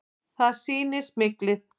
Það sýni smyglið.